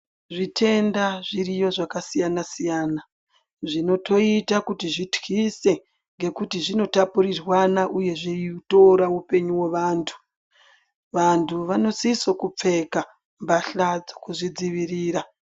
Zvitenda zviriyo zvakasiyana siyana zvinotoita kuti zvityise ngekuti zvinotapurirwana uye zvinotora upenyu wevantu. Vantu vanosiso kupfeka mbahla dzekuzvidzivirira.